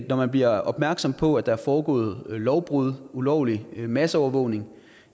når man bliver opmærksom på at der er foregået lovbrud ulovlig masseovervågning